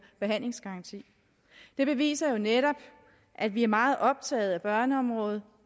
behandlingsgaranti det beviser jo netop at vi er meget optaget af børneområdet